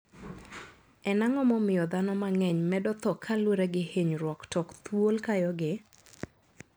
En ang`o momiyo dhano mang`eny medo tho kalure gi hinyruok tok thuol kayogi?